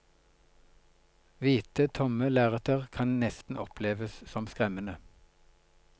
Hvite, tomme lerreter kan nesten oppleves som skremmende.